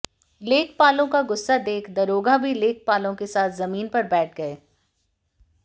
लेखपालों का गुस्सा देख दरोगा भी लेखपालों के साथ जमीन पर बैठ गए